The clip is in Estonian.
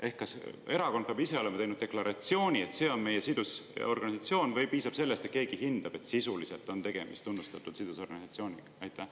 Ehk kas erakond peab ise olema teinud deklaratsiooni, et see on tema sidusorganisatsioon, või piisab sellest, et keegi hindab, et sisuliselt on tegemist tunnustatud sidusorganisatsiooniga?